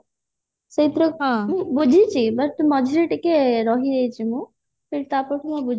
ସେଇଥିରେ କଣ ବୁଝିଛି but ମଝିରେ ଟିକେ ରହିଯାଇଛି ହେଲେ ତାପର ଠୁ ମୂନ ଆଉ